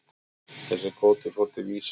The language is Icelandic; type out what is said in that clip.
Þessi kvóti fór til Vísis.